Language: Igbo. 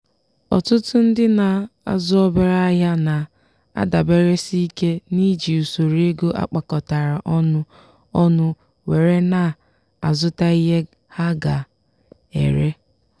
ọtụtụ ndị na-azụ obere ahịa na-adaberesike n'iji usoro ego akpakọtara ọnụ ọnụ were na-azụta ihe ha ga-ere.